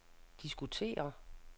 diskutere